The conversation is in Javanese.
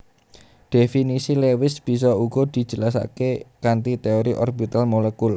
Dhéfinisi Lewis bisa uga dijelasaké kanthi téori orbital molekul